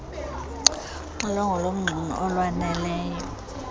uxilongo lomxumi olwaneleyo